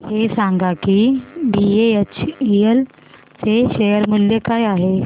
हे सांगा की बीएचईएल चे शेअर मूल्य काय आहे